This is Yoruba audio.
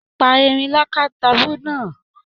Pa erin lakatabu náà!